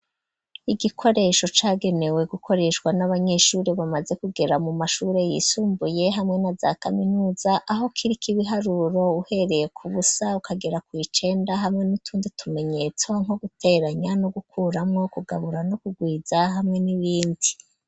Igikoresho cagenewe gukoreshwa n'abanyeshure bamaze kugera mu mashuri yisumbuye hamwe na za kaminuza aho kiriko ibiharuro uhereye ku busa ukagera ku icenda hamwe n'utundi tumenyetso nko guteranya no gukuramwo kugabura no kugwiza hamwe n'ibindi.